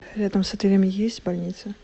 рядом с отелем есть больница